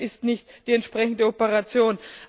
Das ist nicht die entsprechende Operation.